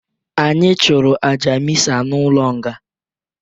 Anyi chụrụ aja mịsa n'ụlọ nga.